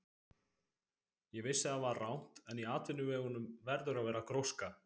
Ég vissi að það var rangt, en í atvinnuvegunum verður að vera gróska.